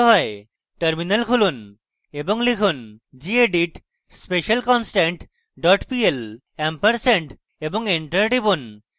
terminal খুলুন এবিং লিখুন: gedit specialconstant dot pl ampersand এবং enter টিপুন